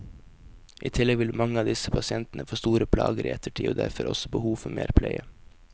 I tillegg vil mange av disse pasientene få store plager i ettertid og derfor også behov for mer pleie.